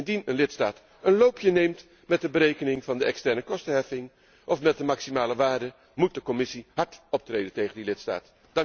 Indien een lidstaat een loopje neemt met de berekening van de externekostenheffing of met de maximale waarde, moet de Commissie hard optreden tegen die lidstaat.